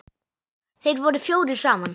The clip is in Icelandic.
Þeir voru fjórir saman.